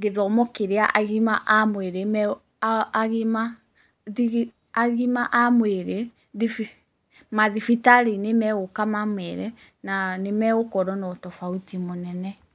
gĩthomo kĩrĩa agima a mwĩrĩ mathibitarĩ-inĩ megũka mamere na nĩmegũkorwo na tofauti mũnene.